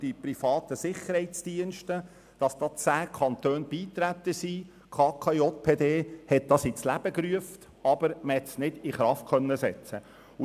Die Kantonale Konferenz der Justiz- und Polizeidirektorinnen und -direktoren (KKJPD) hat das Konkordat ins Leben gerufen, aber es konnte nicht in Kraft gesetzt werden.